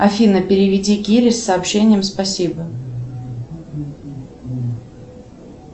афина переведи кире с сообщением спасибо